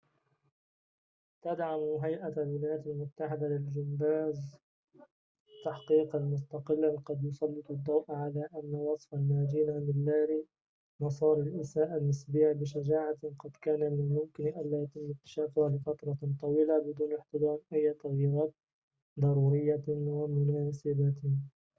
تدعم هيئة الولايات المتحدة للجمباز تحقيقًا مستقلًا قد يسلط الضوء على أن وصف الناجين من لاري نصار الإساءة النسبية بشجاعةٍ قد كان من الممكن ألا يتم اكتشافه لفترة طويلة بدون احتضان أية تغييرات ضرورية ومناسبة